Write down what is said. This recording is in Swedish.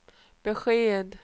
besked